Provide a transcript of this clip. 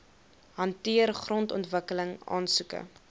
hanteer grondontwikkeling aansoeke